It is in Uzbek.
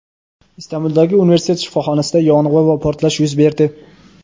Istanbuldagi universitet shifoxonasida yong‘in va portlash yuz berdi.